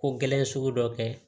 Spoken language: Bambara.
Ko gɛlɛn sugu dɔ kɛ